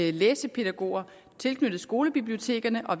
er læsepædagoger tilknyttet skolebibliotekerne og